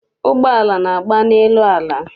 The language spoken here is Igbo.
Ụgbọala na-agba n'elu ala.